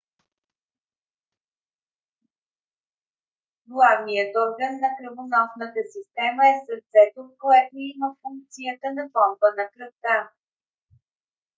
главният орган на кръвоносната система е сърцето което има функцията на помпа на кръвта